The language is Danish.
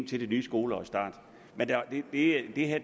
til det nye skoleårs start det her